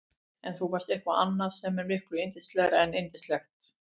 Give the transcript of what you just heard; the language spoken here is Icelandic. En þú varst eitthvað annað sem er miklu yndislegra en yndislegt.